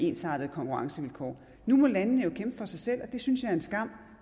ensartede konkurrencevilkår nu må landene jo kæmpe for sig selv og det synes jeg er en skam